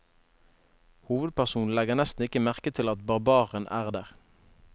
Hovedpersonen legger nesten ikke merke til at barbaren er der.